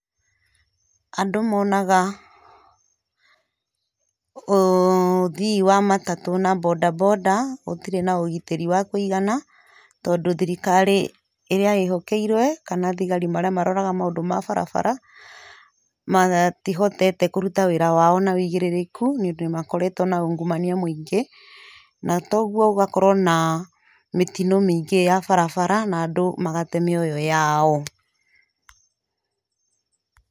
Andũ monaga ũthii wa matatũ na mbondambonda gũtirĩ na ũgitĩri wa kũigana, tondũ thirikari ĩrĩa ĩhokeirwe kana thigari marĩa maroraga maũndũ ma barabara, matihotete kũruta wĩra wao na ũigĩrĩrĩku nĩũndũ nĩmakoretwo ungumania mũingĩ, na kogwo gũgakorwo na mĩtino mĩingĩ ya barabara na andũ magate mĩoyo yao.